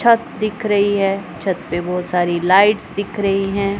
छत दिख रही है छत पे बहुत सारी लाइट्स दिख रही हैं।